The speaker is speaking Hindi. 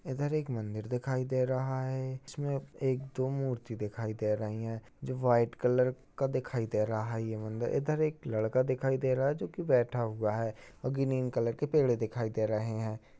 इधर एक मंदिर दिखाई दे रहा है। इसमें एक दो मूर्ति दिखाई दे रही हैं जो वाइट कलर का दिखाई दे रहा ये मंदिर इधर एक लड़का दिखाई दे रहा जो कि बैठा हुआ है अ ग्रीन कलर के पेड़ दिखाई दे रहे हैं।